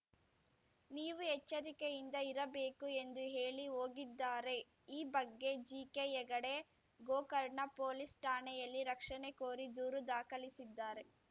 ನೀವು ಎಚ್ಚರಿಕೆಯಿಂದ ಇರಬೇಕು ಎಂದು ಹೇಳಿ ಹೋಗಿದ್ದಾರೆ ಈ ಬಗ್ಗೆ ಜಿಕೆ ಹೆಗಡೆ ಗೋಕರ್ಣ ಪೊಲೀಸ್‌ ಠಾಣೆಯಲ್ಲಿ ರಕ್ಷಣೆ ಕೋರಿ ದೂರು ದಾಖಲಿಸಿದ್ದಾರೆ